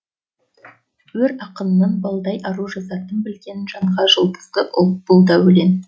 өр ақынның балдай ару жазатын білген жанға жұлдызды ұл бұл да өлең